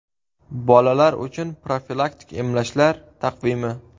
Bolalar uchun profilaktik emlashlar taqvimi.